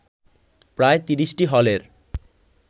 প্রায় ৩০টি হলের